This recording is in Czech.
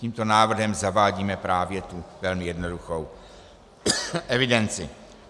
Tímto návrhem zavádíme právě tu velmi jednoduchou evidenci.